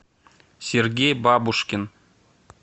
сергей бабушкин